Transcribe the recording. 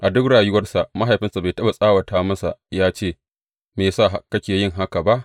A duk rayuwarsa mahaifinsa bai taɓa tsawata masa yă ce, Me ya sa kake yin haka ba?